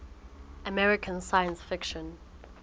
american science fiction